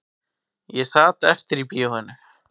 Ég sat eftir í bíóinu